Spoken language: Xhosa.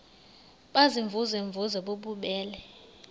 baziimvuze mvuze bububele